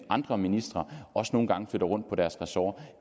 andre ministre også nogle gange flytter rundt på deres ressort og